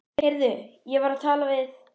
Heyrðu, ég var að tala við